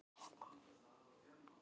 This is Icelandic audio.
Á ég að gera það?